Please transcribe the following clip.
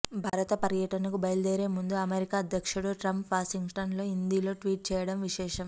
భారత పర్యటనకు బయలుదేరేముందు అమెరికా అధ్యక్షుడు ట్రంప్ వాషింగ్టన్ లో హిందీలో ట్వీట్ చేయడం విశేషం